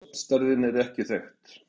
Stofnstærðin er ekki þekkt.